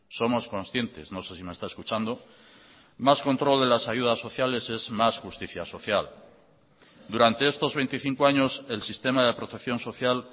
somos conscientes no sé si me está escuchando más control de las ayudas sociales es más justicia social durante estos veinticinco años el sistema de protección social